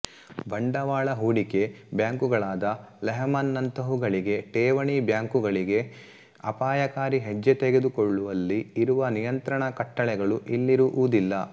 ಬಂಡವಾಳ ಹೂಡಿಕೆ ಬ್ಯಾಂಕುಗಳಾದ ಲೆಹ್ಮನ್ ನಂತಹುಗಳಿಗೆ ಠೇವಣಿ ಬ್ಯಾಂಕುಗಳಿಗೆ ಅಪಾಯಕಾರಿ ಹೆಜ್ಜೆ ತೆಗೆದುಕೊಳ್ಳುವಲ್ಲಿ ಇರುವ ನಿಯಂತ್ರಣಕಟ್ಟಳೆಗಳು ಇಲ್ಲಿರುವುದಿಲ್ಲ